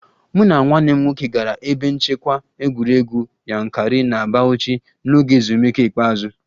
Mụ na nwanne m nwoke gara ebe nchekwa egwuregwu Yankari na Bauchi n'oge ezumike ikpeazụ